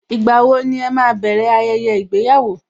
Ìgbà wo ẹ máa bẹ̀rẹ̀ ayẹyẹ ìgbéyàwó?